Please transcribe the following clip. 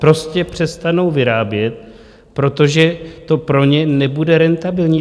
Prostě přestanou vyrábět, protože to pro ně nebude rentabilní.